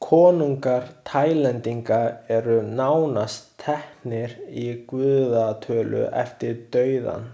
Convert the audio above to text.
Konungar Taílendinga eru nánast teknir í guðatölu eftir dauðann.